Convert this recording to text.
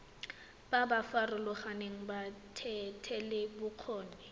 ba ba farologaneng ba thetelelobokgoni